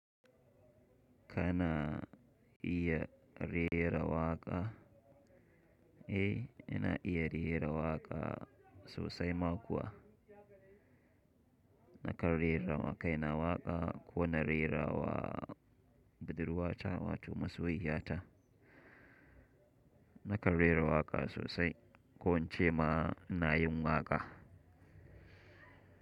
Kana iya rera waƙa? Eh, ina iya rera waƙa sosai ma kuwa. Nakan rerawa kaina waƙa ko na rerawa budurwata wato masoyiya ta. Nakan rera waƙa sosai, ko in ce ma ina yin waƙa.